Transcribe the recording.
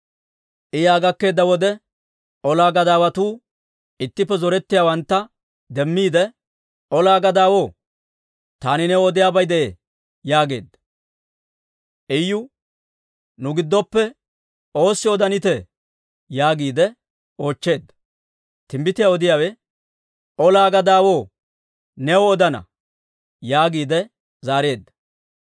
I yaa gakkeedda wode, ola gadaawatuu ittippe zorettiyaawantta demmiide, «Olaa gadaawaw, taani new odiyaabay de'ee» yaageedda. Iyu, «Nu giddoppe oossi odanitee?» yaagiide oochcheedda. Timbbitiyaa odiyaawe, «Olaa gadaawaw, new odana» yaagiide zaareedda.